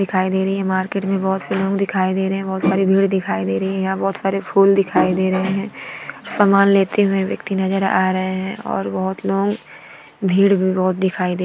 दिखाई रही हे मार्किट मे बहोत दिखाई दे रहे हैं बहोत सारी भीड़ दिखाई दे रही है यहाँ बहोत सारे फूल दिखाई दे रहे हैं । सामान लेते हुए व्यक्ति नजर आ रहे हैं और बहोत लोग भीड़ भी बहोत दिखाई दे रही है।